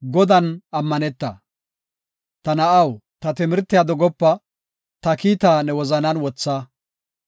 Ta na7aw, ta timirtiya dogopa; ta kiitaa ne wozanan wotha.